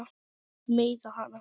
Meiða hana.